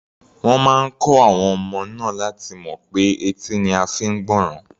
Wọ́n máa kọ́ àwọn ọmọ náà láti mọ̀ pé etí ni a fi ń gbọ́ràn.